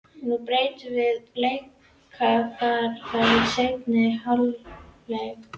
Nú breytum við um leikaðferð í seinni hálfleik.